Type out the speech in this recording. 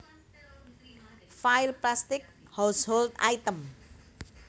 File Plastic household items